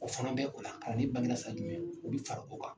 O fana bɛ o la kalanden bangera san jumɛn u bɛ fara o kan.